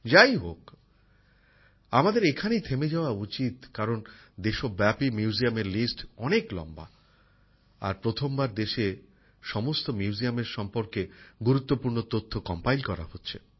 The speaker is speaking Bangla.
যাই হোক আমাদের এখানেই থেমে যাওয়া উচিত কারণ দেশ ব্যাপী সংগ্রহশালাগুলির তালিকা অনেক লম্বা আর প্রথমবার দেশে সমস্ত মিউজিয়ামের সম্বন্ধে গুরুত্বপূর্ণ তথ্য সংকলন করা হচ্ছে